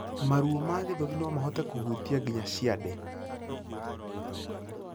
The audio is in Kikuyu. Maruo ma gĩthũri nomahote kuhutia nginya ciande